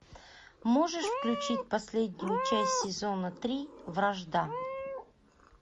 можешь включить последнюю часть сезона три вражда